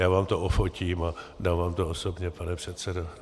Já vám to ofotím a dám vám to osobně, pane předsedo.